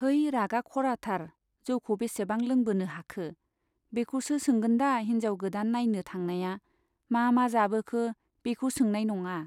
है रागा खराथार जौखौ बेसेबां लोंबोनो हाखो , बेखौसो सोंगोन दा हिन्जाव गोदान नाइनो थांनाया मा मा जाबोखो बेखौ सोनाय नङा।